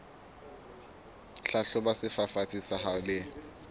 hlahloba sefafatsi sa hao le